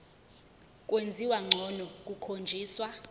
kwenziwa ngcono kukhonjiswa